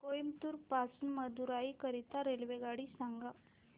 कोइंबतूर पासून मदुराई करीता रेल्वेगाडी सांगा